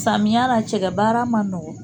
Samiya la, cɛkɛ baara ma nɔgɔ.